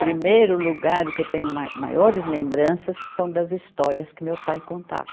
Primeiro lugar o que eu tenho mai, maiores lembranças são das histórias que meu pai contava.